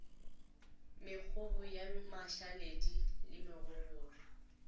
mekgobo ya mašaledi le mogogolwa